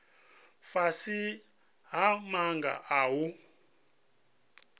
fhasi ha maga a u